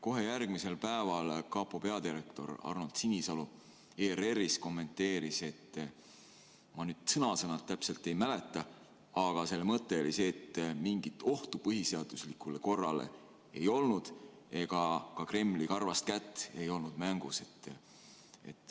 Kohe järgmisel päeval kapo peadirektor Arnold Sinisalu ERR-is kommenteeris – ma nüüd sõna-sõnalt täpselt ei mäleta, aga selle mõte oli selline –, et mingit ohtu põhiseaduslikule korrale ei olnud ega ka Kremli karvast kätt ei olnud mängus.